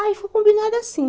Aí foi combinado assim.